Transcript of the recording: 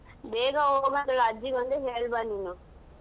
ಬೇಗಾ ಅಜ್ಜಿಗೊಂದು ಹೇಳ್ ಬಾ ನೀನು.